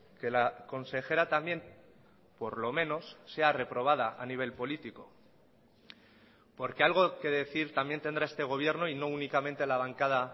que la consejera también por lo menos sea reprobada a nivel político porque algo que decir también tendrá este gobierno y no únicamente la bancada